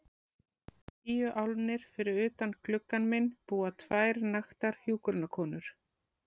Tíu álnir fyrir utan gluggann minn búa tvær naktar hjúkrunarkonur.